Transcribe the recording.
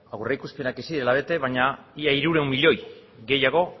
aurreikuspenak ez zirela bete baina ia hirurehun milioi gehiago